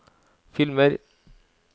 filmer